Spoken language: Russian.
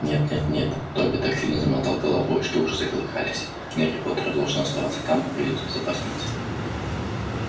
нет нет нет добби так сильно замотал головой что уши заколыхались гарри поттер должен оставаться там где он в безопасности